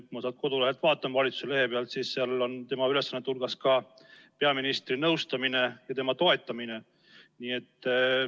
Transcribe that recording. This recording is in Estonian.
Ma sealt valitsuse kodulehelt vaatan, seal on tema ülesannete hulgas ka peaministri nõustamine ja tema toetamine.